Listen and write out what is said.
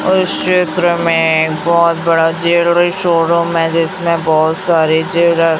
और इस चित्र में बहुत बड़ा ज्वेलरी शोरूम है जिसमें बोहोत सारे ज्वेलर --